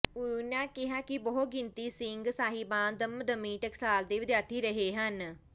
ਉੲਨਾਂ ਕਿਹਾ ਕਿ ਬਹੁ ਗਿਣਤੀ ਸਿੰਘ ਸਾਹਿਬਾਨ ਦਮਦਮੀ ਟਕਸਾਲ ਦੇ ਵਿਦਿਆਰਥੀ ਰਹੇ ਹਨ